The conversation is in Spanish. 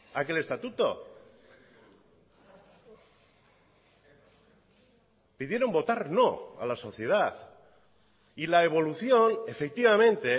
a aquel estatuto pidieron votar no a la sociedad y la evolución efectivamente